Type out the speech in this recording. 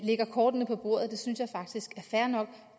lægger kortene på bordet synes jeg faktisk er fair nok